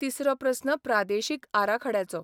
तिसरो प्रस्न प्रादेशीक आराखड्याचो.